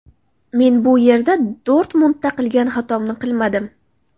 Men bu yerda Dortmundda qilgan xatomni qilmadim.